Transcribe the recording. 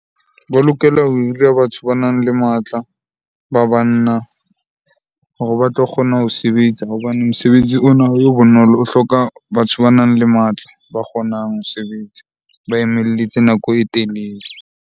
Ba lokela ho hira batho banang le matla, ba banna hore ba tlo kgona ho sebetsa hobane mosebetsi ona ha o be bonolo. O hloka batho banang le matla, ba kgonang ho sebetsa nako e telele.